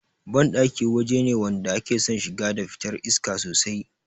Banɗaki waje ne wanda ake son shiga da fitar iska sosai